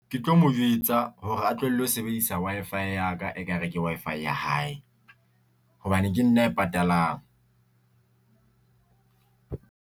Ke tlo mo jwetsa hore a tlohelle ho sebedisa Wi-Fi ya ka e ka re ke Wi-Fi ya hae hobane ke nna a e patalang.